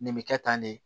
Nin bɛ kɛ tan de